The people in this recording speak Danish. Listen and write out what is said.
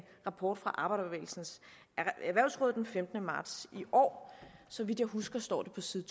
rapport fra arbejderbevægelsens erhvervsråd fra den femtende marts i år så vidt jeg husker står det på side